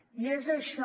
i és això